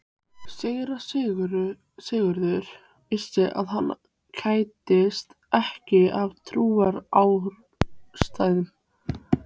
Síra Sigurður vissi að hann kættist ekki af trúarástæðum.